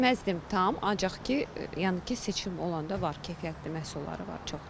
Deməzdim tam, ancaq ki, yəni ki, seçim olanda var keyfiyyətli məhsulları var çox.